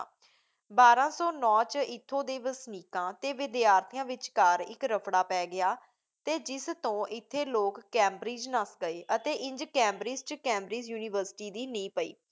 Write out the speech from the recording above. ਬਾਰਾਂ ਸੌਂ ਨੌ 'ਚ ਇੱਥੋਂ ਦੇ ਵਸਨੀਕਾਂ ਤੇ ਵਿੱਦਿਆਰਥੀਆਂ ਵਿੱਚਕਾਰ ਇੱਕ ਰਫਡ਼ਾ ਪੈ ਗਿਆ ਅਤੇ ਜਿਸ ਤੋਂ ਇਥੋਂ ਲੋਕ ਕੈਂਬਰਿਜ ਨੱਸ ਗਏ ਅਤੇ ਇੰਝ ਕੈਂਬਰਿਜ 'ਚ ਕੈਂਬਰਿਜ ਯੂਨੀਵਰਸਿਟੀ ਦੀ ਨੀਂਹ ਪਈ।